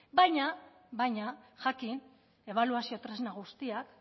baina jakin ebaluazio tresna guztiak